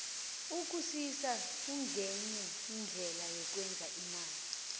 ukusisa kungenye yeendlela yokwenza imali